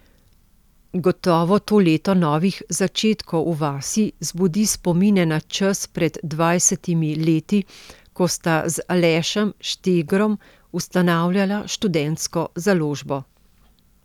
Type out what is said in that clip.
Gotovo to leto novih začetkov v vas zbudi spomine na čas pred dvajsetimi leti, ko sta z Alešem Štegrom ustanavljala Študentsko založbo.